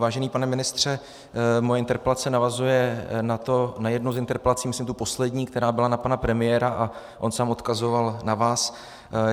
Vážený pane ministře, moje interpelace navazuje na jednu z interpelací, myslím tu poslední, která byla na pana premiéra, a on sám odkazoval na vás.